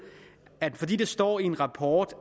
at fordi det står i en rapport